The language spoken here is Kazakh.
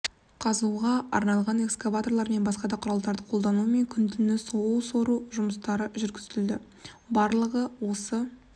қазуға арналған экскаваторлар мен басқа да құралдарды қолданумен күні-түні су сору жұмыстарын жүргізді барлығы осы